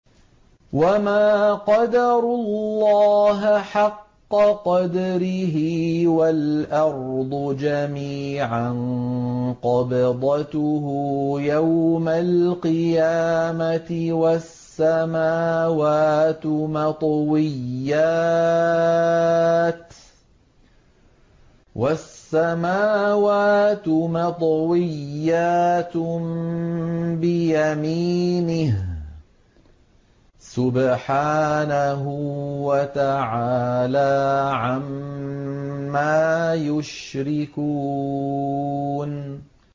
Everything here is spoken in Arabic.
وَمَا قَدَرُوا اللَّهَ حَقَّ قَدْرِهِ وَالْأَرْضُ جَمِيعًا قَبْضَتُهُ يَوْمَ الْقِيَامَةِ وَالسَّمَاوَاتُ مَطْوِيَّاتٌ بِيَمِينِهِ ۚ سُبْحَانَهُ وَتَعَالَىٰ عَمَّا يُشْرِكُونَ